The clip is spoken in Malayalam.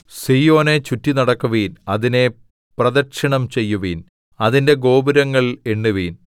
സീയോനെ ചുറ്റിനടക്കുവിൻ അതിനെ പ്രദക്ഷിണം ചെയ്യുവിൻ അതിന്റെ ഗോപുരങ്ങൾ എണ്ണുവിൻ